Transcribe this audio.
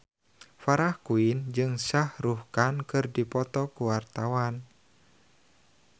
Farah Quinn jeung Shah Rukh Khan keur dipoto ku wartawan